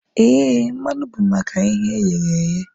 Éè, mmanụ bụ maka ihe e ghere eghe